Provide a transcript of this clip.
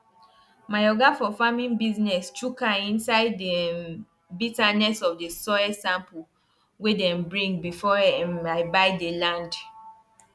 i don learn um say animal wey dey grow fast dey chop more and you gats dey follow am bumper to bumper. to bumper.